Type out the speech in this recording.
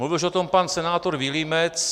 Mluvil už o tom pan senátor Vilímec.